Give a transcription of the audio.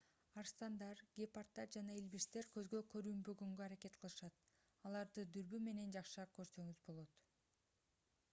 арстандар гепарддар жана илбирстер көзгө көрүнбөгөнгө аракет кылышат аларды дүрбү менен жакшыраак көрсөңүз болот